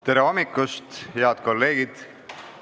Tere hommikust, head kolleegid!